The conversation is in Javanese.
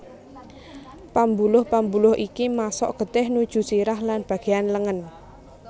Pambuluh pambuluh iki masok getih nuju sirah lan bagéan lengen